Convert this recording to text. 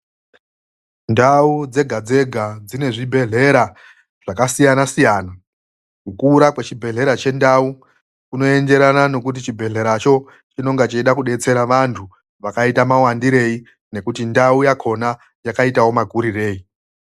Ndau dzega dzega dzinezvibhedhlera zvakasiyana siyana. Kukura kwechibhedhlera chendau, kunoenderana nekuti chibhedhleracho chinonga cheida kudetsera vantu vakaita muwandirei, nekuti ndau yakhona, yakaitawo makuririrei.